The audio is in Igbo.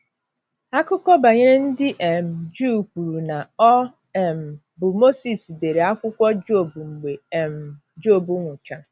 Akụkọ banyere ndị um Juu kwuru na ọ um bụ Mozis dere akwụkwọ Job mgbe um Job nwụchara.